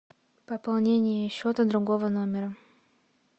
пополнение счета другого номера